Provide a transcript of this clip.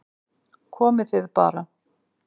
Komið þið bara